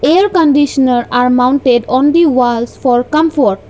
air conditioner are mounted on the walls for comfort.